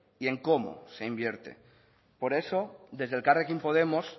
y en cómo se invierte por eso desde elkarrekin podemos